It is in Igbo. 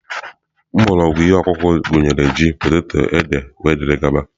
Mgbọrọgwụ ihe ọkụkụ gụnyere ji, poteto, ede wdg.